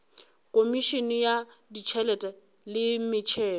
khomišene ya ditšhelete le metšhelo